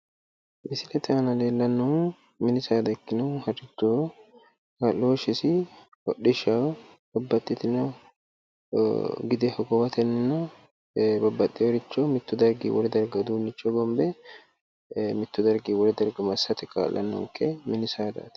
Misilete aana leellannohu mini saada ikkinohu harrichoho kaa'looshisi hodhishaho babbaxxitino gide hogowatenna babbaxxeworicho mittu dargi wole darga uduunnicho hogombe mittu dargi wole darga massate kaa'lannonke mini saadaati